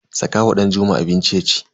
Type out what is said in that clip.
Saka wa Danjuma abinci yaci.